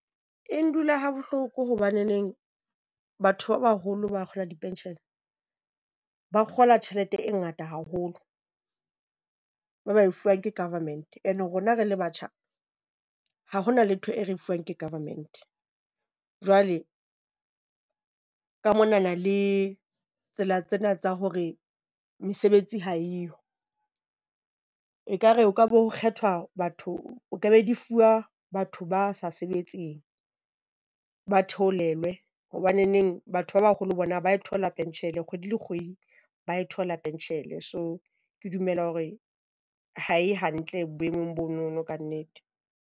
E ndula ha bohloko hobaneneng batho ba baholo ba kgola di-pension, ba kgola tjhelete e ngata haholo, ba ba e fuwang ke government and rona re le batjha ha ho na letho e re fuwang ke government. Jwale ka monana le tsela tsena tsa hore mesebetsi ha eyo ekare ho ka bo ho kgethwa batho, o ka be di fuwa batho ba sa sebetseng, ba theolelwe. Hobaneng batho ba baholo bona ba e thola penshele kgwedi le kgwedi, ba e thola penshele. So ke dumela hore ha e hantle boemong bono kannete.